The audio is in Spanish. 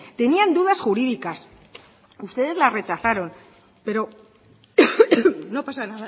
tenían dudas jurídicas ustedes la rechazaron pero no pasa